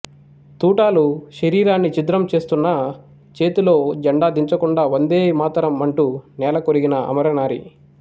తూటాలు శరీరాన్ని ఛిద్రం చేస్తున్నా చేతిలో జెండా దించకుండా వందేమాతరం అంటూ నేలకొరిగిన అమరనారి